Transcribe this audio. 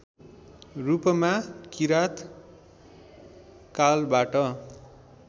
रूपमा किराँत कालबाट